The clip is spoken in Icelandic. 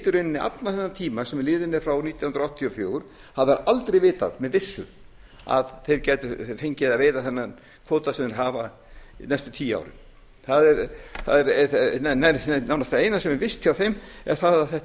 allan þennan tíma sem liðin er frá nítján hundruð áttatíu og fjögur hafa þeir aldrei vitað með vissu að þeir gætu fengið að veiða þennan kvóta sem þeir hafa næstu tíu árin nánast það eina sem er visst hjá þeim er það að þetta